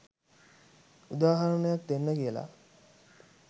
උදාහරනයක් දෙන්න කියලා